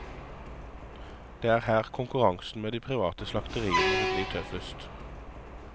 Det er her konkurransen med de private slakteriene vil bli tøffest.